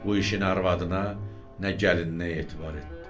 Bu işini arvadına, nə gəlininə etibar etdi.